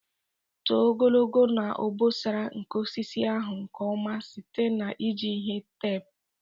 tụọ ogologo na obosara nke osisi ahụ nke ọma site na iji ihe teepu.